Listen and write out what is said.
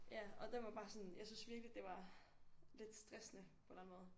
Ja og den var bare sådan jeg synes virkelig det var lidt stressende på en eller anden måde